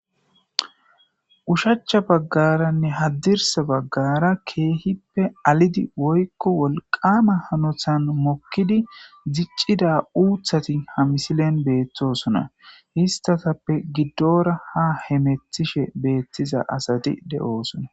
ushacha baggaranne haddirsa baggara keehippe alidi woykko wolqama hanothan mokkidi diccida uuthati ha misilen beettosona histatappe giddora ha hemethishe beettiza asati de7oosona